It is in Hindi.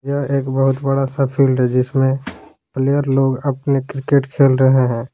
यह एक बहुत बड़ा सा फील्ड है जिसमें प्लेयर लोग अपने क्रिकेट खेल रहे हैं।